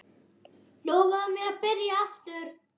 Lofaðu mér að byrja aftur!